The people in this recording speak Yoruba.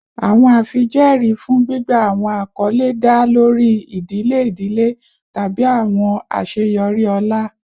Awọn afijẹẹri fun gbigba awọn akọle da lori idile idile tabi awọn aṣeyọri ọlá